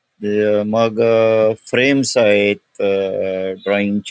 हे अ मग अ फ्रेम्स आहेत अह ड्रॉइंग चे --